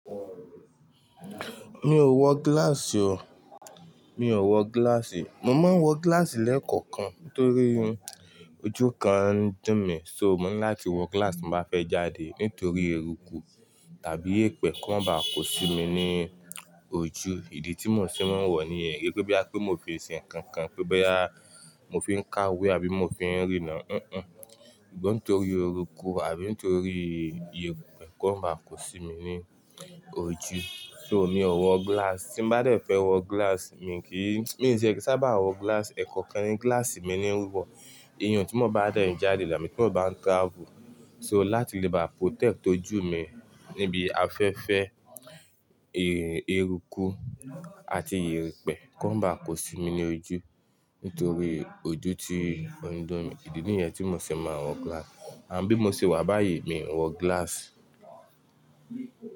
Mi ò wọ glass o. Mi ò wọ glass. Mo máa ń wọ glass lẹ́ẹ̀kọ̀kan nítorí ojú kan ń dun mí. So mo ní láti wọ glass bí mo bá fẹ́ jáde nítorí eruku tàbí èpè kó ba kò si mi ní ojú. Ìdí tí mo ṣe máa ń wọ ni èyí pé bí à pé mo fi ṣe nǹkan kan, pé bẹ́ á mo fi ń káwé àbí mo fi ń rì náà, o, òun nítorí eruku àbí nítorí ìyèpè kó máa kò si mi ní ojú. So mi ò wọ glass. Tí mo bá dẹ̀ fẹ́ wọ glass mi kì í, mi ò ní ṣe ẹkẹ sá bá wọ glass, ẹ̀kọ̀kan ni glass mi ní ń wọ. Ìyẹn tí mo bá dẹ̀ ń jáde là, tí mo bá ń travel, so láti lè bá protect ojú mi níbi afẹ́fẹ́, ẹ, eruku àti ìrèpè kó má ba kò si mi ní ojú nítorí ojú ti ọ̀dọ̀ mi. Ìdí nìyẹn tí mo ṣe máa wọ glass. Àbí mo sì wà báyìí mi ò ń wọ glass.